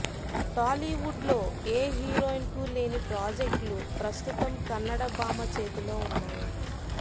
టాలీవుడ్లో ఏ హీరోయిన్కు లేని ప్రాజెక్టులు ప్రస్తుతం కన్నడభామ చేతిలో ఉన్నాయి